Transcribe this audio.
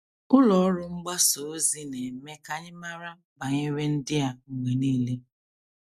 Ụlọ ọrụ mgbasa ozi na - eme ka anyị mara banyere ndị a mgbe nile.